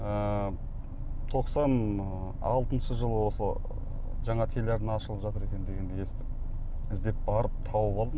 ыыы тоқсан алтыншы жылы осы жаңа телеарна ашылып жатыр екен дегенді естіп іздеп барып тауып алдым